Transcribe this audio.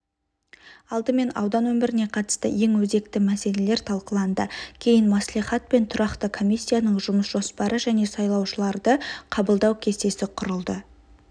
алдымен аудан өміріне қатысты ең өзекті мәселелер талқыланды кейін мәслихат пен тұрақты комиссияның жұмыс жоспары және сайлаушыларды қабылдау кестесі құрылды